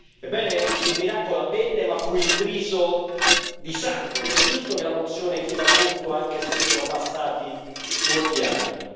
Ebbene, il miracolo avvenne, ma fu intriso di sangue ed è giusto che la mozione chieda conto, anche se sono passati molti anni.